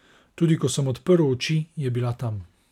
Tudi ko sem odprl oči, je bila tam.